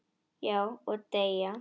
Já, og deyja